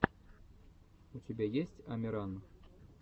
у тебя есть амиран